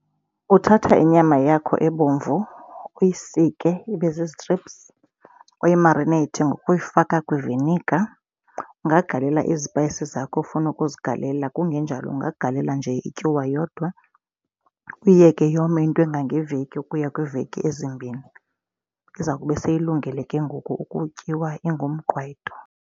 Uthatha inyama yakho ebomvu uyisike ibe zizitriphsu, uyimarineyithe ngokuyifaka kwivinika. Ungagalela izipayisi zakho ofuna ukuzigalela kungenjalo ungagalela nje ityuwa yodwa. Uyiyeke yome into engangeveki ukuya kwiiveki ezimbini. Iza kube seyilungile ke ngoku ukutyiwa ingumqwayito.